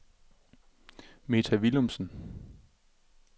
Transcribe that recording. Meta Willumsen